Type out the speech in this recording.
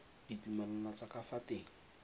ditumalano tsa ka fa teng